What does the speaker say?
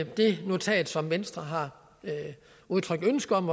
det notat som venstre har udtrykt ønske om